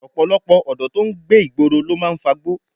Ọ̀pọ̀lọpọ̀ ọ̀dọ́ tí ń gbé ìgboro ló máa ń fagbó